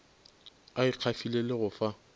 a ikgafile le go fa